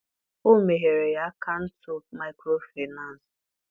o meghere ya akaụntụ micro Finance.